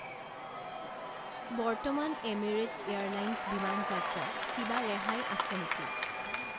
বৰ্তমান Emirates airlines বিমান যাত্ৰাত কিবা ৰেহাই আছে নেকি?